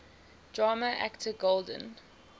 drama actor golden